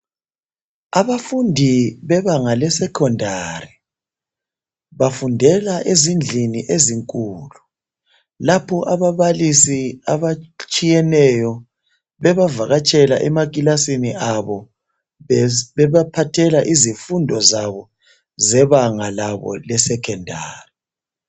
Abafundi bebanga le Secondary bafundela ezindlini ezinkulu lapho abababalisi abatshiyeneyo bengavakatshela emakilasini abo bebaphathela izifundo zabo zebanga labo lesecondary.